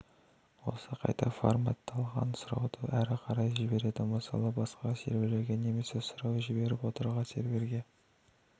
осы қайта фарматталған сұрауды әрі қарай жібереді мысалы басқа серверлерге немесе сұрау жіберіп отырған серверге